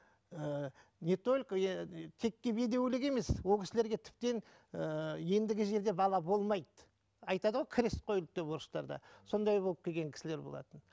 ііі не только текке бедеулік емес ол кісілерге тіптен ііі ендігі жерде бала болмайды айтады ғой крест қойылды деп орыстарда сондай болып келген кісілер болатын